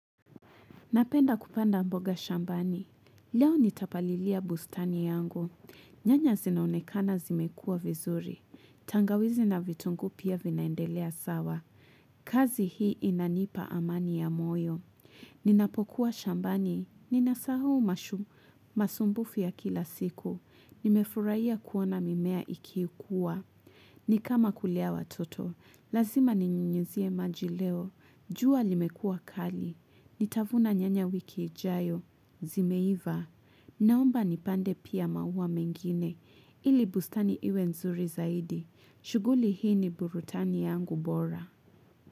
Napenda kupanda mboga shambani, leo nitapalilia bustani yangu, nyanya zinaonekana zimekua vizuri, tangawizi na vitungu pia vinaendelea sawa, kazi hii inanipa amani ya moyo. Ninapokuwa shambani, nina sahuhu mashu masumbufi ya kila siku, nimefuraiya kuona mimea ikikua. Nikama kulea watoto, lazima ninyunyuzie maji leo, jua limekua kali, nitavuna nyanya wiki ijayo, zimeiva. Naomba nipande pia maua mengine, ili bustani iwe nzuri zaidi, shuguli hii ni burudhani yangu bora.